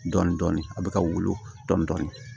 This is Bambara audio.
Dɔɔnin dɔɔnin a bɛ ka wolo dɔni